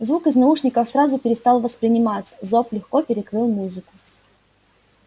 звук из наушников сразу перестал восприниматься зов легко перекрыл музыку